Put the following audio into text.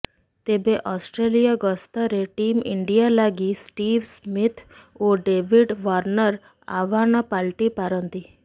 ତେବେ ଅଷ୍ଟ୍ରେଲିଆ ଗସ୍ତରେ team India ଲାଗି ଷ୍ଟିଭ୍ ସ୍ମିଥ୍ ଓ ଡେଭିଡ ୱାର୍ଣ୍ଣର ଆହ୍ୱାନ ପାଲଟିପାରନ୍ତି